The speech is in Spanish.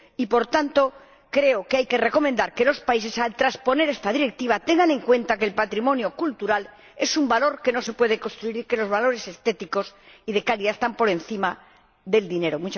Y, por tanto, creo que hay que recomendar que los países, al transponer esta Directiva, tengan en cuenta que el patrimonio cultural es un valor que no se puede construir, y que los valores estéticos y de calidad están por encima del dinero.